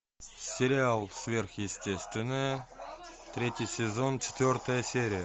сериал сверхъестественное третий сезон четвертая серия